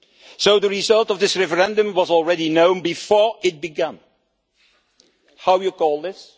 So the result of this referendum was already known before it began. What do you call this?